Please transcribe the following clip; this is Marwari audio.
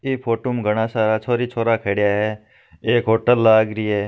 ई फोटु में घणा सारा छोरी-छोरा खड्या है एक होटल लाग री है।